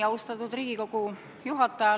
Austatud Riigikogu juhataja!